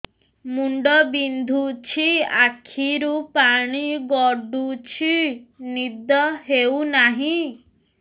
ମୁଣ୍ଡ ବିନ୍ଧୁଛି ଆଖିରୁ ପାଣି ଗଡୁଛି ନିଦ ହେଉନାହିଁ